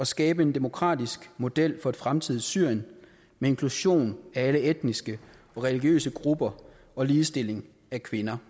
skabe en demokratisk model for et fremtidigt syrien med inklusion af alle etniske og religiøse grupper og ligestilling af kvinder